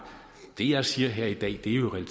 det jeg siger her i dag er jo i